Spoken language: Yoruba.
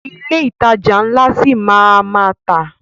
Ilé ìtajà ńlá ṣi máa a má tà.